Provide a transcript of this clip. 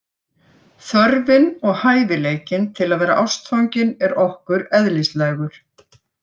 Þörfin og hæfileikinn til að vera ástfangin er okkur eðlislægur.